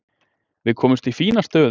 Við komumst í fína stöðu.